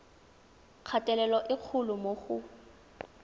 kgatelelo e kgolo mo go